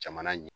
Jamana ɲɛ